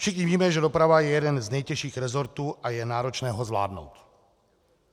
Všichni víme, že doprava je jeden z nejtěžších rezortů a je náročné ho zvládnout.